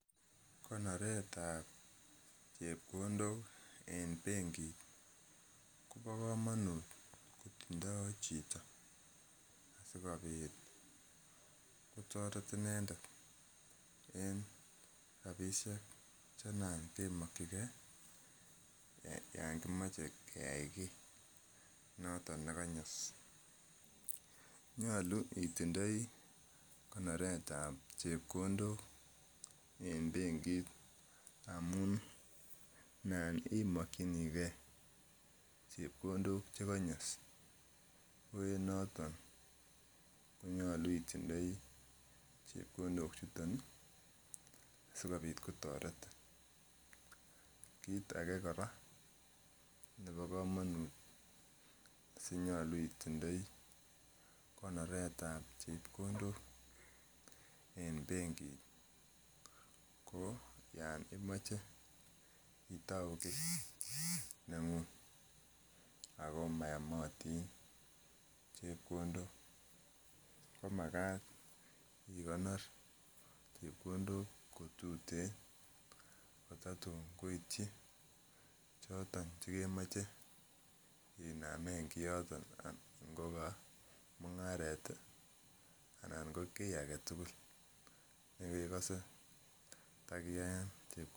Konoretab chepkondok en benkit kobo komonut kotindoo chito asikobit kotoret inendet en rapisiek che nan kemokyingee yan kimoche keyai kiy noton nekonyos nyolu itindoi konoretab chepkondok en benkit amun nan imokyinigee chepkondok chekonyos ko en noton konyolu itindoi chepkondok chuton ih sikobit kotoretin. Kit age kora nebo komonut sinyolu itindoi konoretab chepkondok en benkit ko yan imoche itou kiy neng'ung ako mayomotin chepkondok ko makat ikonor chepkondok kotuten kotatun koityi choton chekemoche inamen kioton ngo ko mung'aret anan ko kiy aketugul nekekose takiyaen chepkondok